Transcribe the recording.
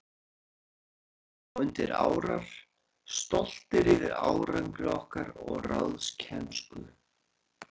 Við settumst svo undir árar, stoltir yfir árangri okkar og ráðkænsku.